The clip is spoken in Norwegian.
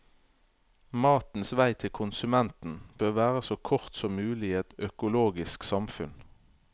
Matens vei til konsumenten bør være så kort som mulig i et økologisk samfunn.